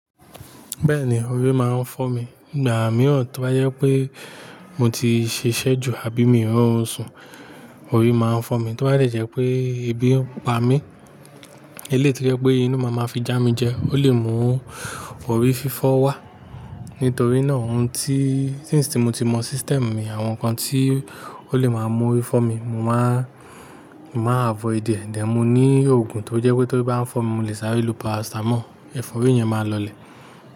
Bẹ́ẹ̀ni, orí máa ń fọ́ mi. Ìgbà mìíràn tí bá jẹ́ pé mo ti ṣiṣẹ́ ju àbí mí rọrùn ṣùn, orí máa ń fọ́ mi, tó bá dẹ̀ jẹ́ wípé ebi ń pa mí. Eléyì tó jẹ́ pé inú máa ma fi já mi jẹ, ó lè mú orí fífọ́ wá. Nítorí náà ohun tí-í since tí mo ti mọ system mi, àwọn nǹkan tí ó lè máa mú orí fọ́ mi, mo máa, mo máa àvoìd è. Then mo ní òògùn tó jẹ́ pé tórí bá ń fọ́ mi, mo lè sáré lo paracetamol, ẹ̀fọ́rí yẹn máa lọlẹ̀.